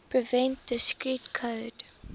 prevent discrete code